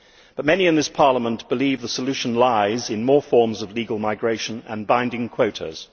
But many in this Parliament believe that the solution lies in more forms of legal migration and binding quotas.